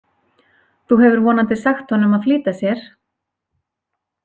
Þú hefur vonandi sagt honum að flýta sér?